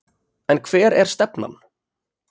En hver er stefnan?